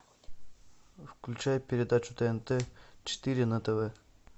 включай передачу тнт четыре на тв